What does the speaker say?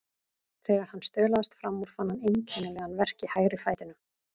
Þegar hann staulaðist fram úr fann hann einkennilegan verk í hægri fætinum.